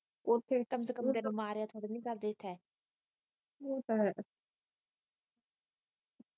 ਉੱਥੇ ਕਮ ਸੇ ਕਮ ਤੈਨੂੰ ਮਾਰਿਆ ਤਾ ਨਹੀਂ ਕਰਦੇ ਥੇ